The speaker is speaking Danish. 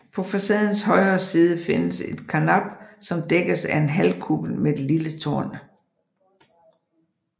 På facadens højre side findes et karnap som dækkes af en halvkuppel med et lille tårn